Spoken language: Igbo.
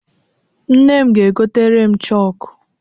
Nne m ga-egotere m chokụ.